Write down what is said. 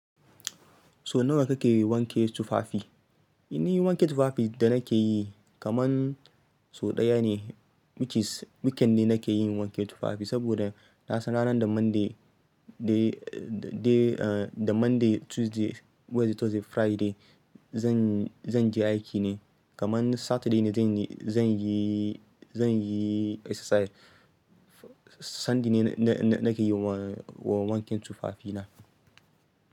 So nawa kake wanke tufafi? Ina yin wanke tufafi da nake yi kaman so ɗaya ne, which is weekend nake yin wanke tufafi. Saboda na san ranar da Monday day, day, ah, da Monday, Tuesday, Wednesday, Thursday, Friday zan, zan je aiki ne. Kaman Saturday ne zan yi, zan yi, zan yi exercise. Sunday ne na, na, na ke yi wa, wa wanke tufafina.